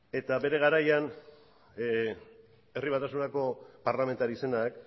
eta bere garaian herri batasunako parlamentari zenak